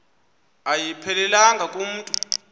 ayiphelelanga ku mntu